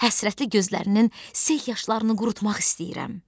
həsrətli gözlərinin sel yaşlarını qurutmaq istəyirəm.